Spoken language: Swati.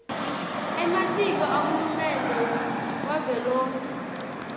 ematiko ahulumende wavelonkhe